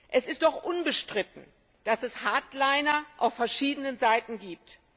Es ist doch unbestritten, dass es Hardliner auf verschiedenen Seiten gibt.